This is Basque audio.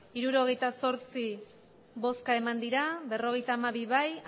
hirurogeita zortzi bai berrogeita hamabi zuri